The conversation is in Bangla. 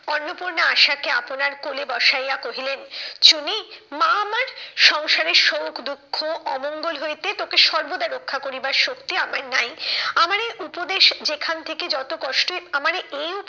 অন্নপূর্ণা আসাকে আপনার কোলে বসাইয়া কহিলেন, চুনী মা আমার সংসারের শোক, দুঃখ, অমঙ্গল হইতে তোকে সর্বদা রক্ষা করিবার শক্তি আমার নাই। আমার এই উপদেশ যেখান থেকে যত কষ্টই আমারে এই